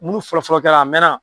Munnu fɔlɔfɔlɔ kɛla a mɛnna.